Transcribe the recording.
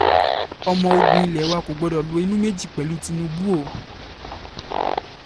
ọmọ ogun ilé wa kò gbọ́dọ̀ lo inú méjì pẹ̀lú tinubu o